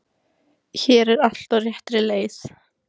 Hér er allt á réttri leið.